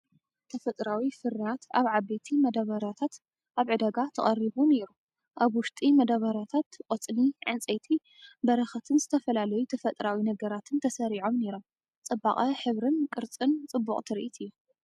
ተፈጥሮኣዊ ፍርያት ኣብ ዓበይቲ መዳበርያታት ኣብ ዕዳጋ ተቐሪቡ ነይሩ። ኣብ ውሽጢ መደባርያታት፡ ቆጽሊ፡ ዕንጸይቲ፡ በረኸትን ዝተፈላለዩ ተፈጥሮኣዊ ነገራትን ተሰሪዖም ነይሮም። ጽባቐ ሕብርን ቅርጽን ጽቡቕ ትርኢት'ዩ።